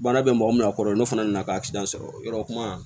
Baara bɛ mɔgɔ min na a kɔrɔ n'o fana nana kasɔrɔ yɔrɔ kuma